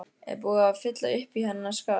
Er búið að fylla uppí hennar skarð?